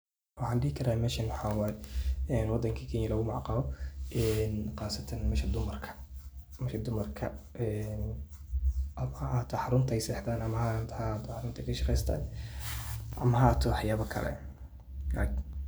Waxan dhihi karaa meshan waxa way wadinka Kenya lugu magac caabo en qasatan meshi dumarka. wixi dumarka ama ahato xaruntay sexdan ama ha ahato xaruntay kashaqeystan ama ha ahato waxba kale